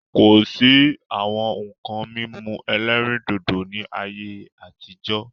Kosi àwọn nkan mímu ẹlẹ́rìndòdò ni ayé àtijọ́